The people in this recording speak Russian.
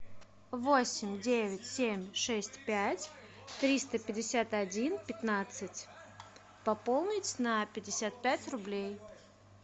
восемь девять семь шесть пять триста пятьдесят один пятнадцать пополнить на пятьдесят пять рублей